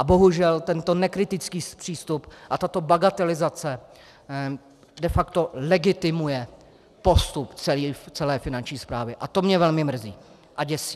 A bohužel tento nekritický přístup a tato bagatelizace de facto legitimuje postup celé Finanční správy a to mě velmi mrzí a děsí.